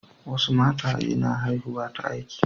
Wasu mataye na haihuwa ta aiki.